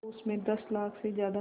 तो उस में दस लाख से ज़्यादा